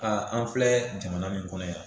an filɛ jamana min kɔnɔ yan